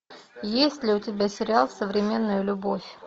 есть ли у тебя сериал современная любовь